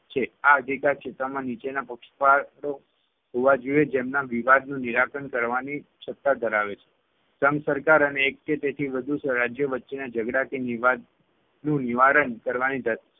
છે આ અધિકારક્ષેત્રમાં નીચેના પક્ષકારો હોવા જોઈએ જેમના વિવાદનું નિરાકરણ કરવાની સત્તા ધરાવે છે. સંઘ સરકાર અને એક કે તેથી વધુ રાજ્યો વચ્ચેના ઝગડા કે વિવાદનું નિવારણ કરવાની ધ